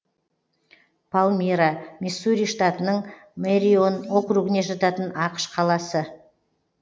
палмира миссури штатының мэрион округіне жататын ақш қаласы